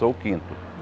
Eu sou o quinto.